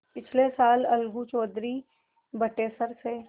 पिछले साल अलगू चौधरी बटेसर से